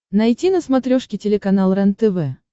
найти на смотрешке телеканал рентв